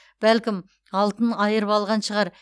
бәлкім алтын айырып алған шығар